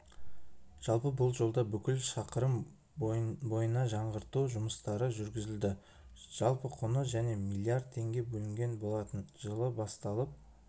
жалпы бұл жолда бүкіл шақырым бойына жаңғырту жұмыстары жүргізілді жалпы құны және миллиард теңге бөлінген болатын жылы басталып